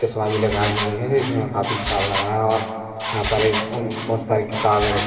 चश्मा भी लगाए हुए है जो कि में काफी ख़राब लग रहा है और यहाँ पर एक अम बहुत सारी किताबे रखी है बहुत सारी अलम --